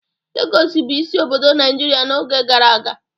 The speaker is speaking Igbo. Lagos bụ isi obodo Naijiria n'oge gara aga.